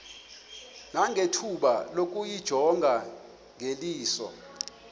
nangethuba lokuyijonga ngeliso